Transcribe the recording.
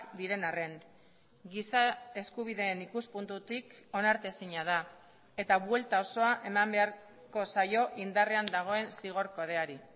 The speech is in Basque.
diren arren giza eskubideen ikuspuntutik onartezina da eta buelta osoa eman beharko zaio indarrean dagoen zigor kodeari